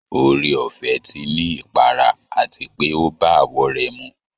Oore ọ̀fẹ́ ti ní ipara àti pé ó bá àwọ̀ rẹ̀ mu